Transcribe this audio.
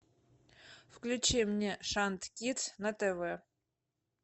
включи мне шант кидс на тв